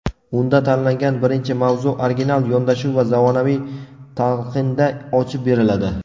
Unda tanlangan birinchi mavzu original yondashuv va zamonaviy talqinda ochib beriladi.